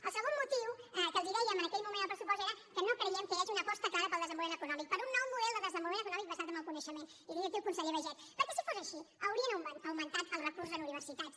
el segon motiu que els dèiem en aquell moment al pressupost era que no creiem que hi hagi una aposta clara pel desenvolupament econòmic per un nou model de desenvolupament econòmic basat en el coneixement i tinc aquí el conseller baiget perquè si fos així haurien augmentat els recursos en universitats